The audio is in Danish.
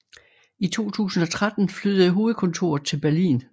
I 2013 flyttede hovedkontoret til Berlin